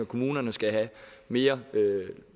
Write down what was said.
kommunerne skal have mere